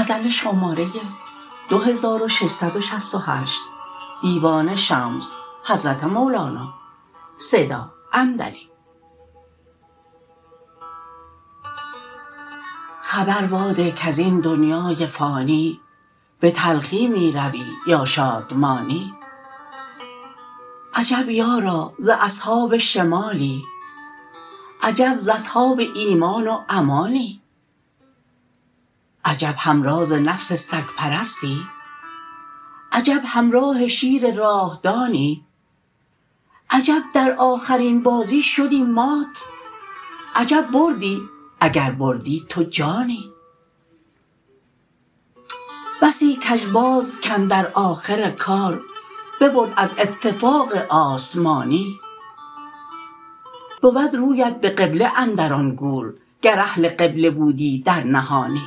خبر واده کز این دنیای فانی به تلخی می روی یا شادمانی عجب یارا ز اصحاب شمالی عجب ز اصحاب ایمان و امانی عجب همراز نفس سگ پرستی عجب همراه شیر راه دانی عجب در آخرین بازی شدی مات عجب بردی اگر بردی تو جانی بسی کژباز کاندر آخر کار ببرد از اتفاق آسمانی بود رویت به قبله اندر آن گور گر اهل قبله بودی در نهانی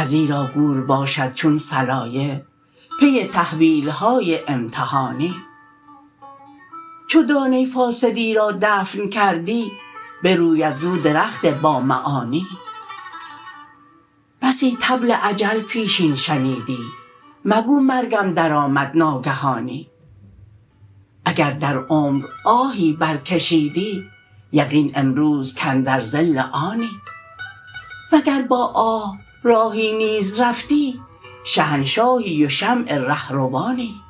ازیرا گور باشد چون صلایه پی تحویل های امتحانی چو دانه فاسدی را دفن کردی بروید زو درخت بامعانی بسی طبل اجل پیشین شنیدی مگو مرگم درآمد ناگهانی اگر در عمر آهی برکشیدی یقین امروز کاندر ظل آنی وگر با آه راهی نیز رفتی شهنشاهی و شمع ره روانی